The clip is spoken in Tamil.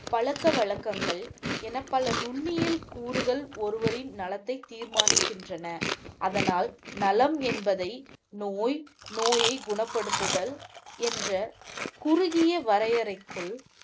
பழக்கவழக்கங்கள் என பல நுண்ணியல் கூறுகள் ஒருவரின் நலத்தை தீர்மானிக்கின்றன. அதனால் நலம் என்பதை நோய், நோயை குணப்படுத்துதல் என்ற குறுகிய வரையறைக்குள்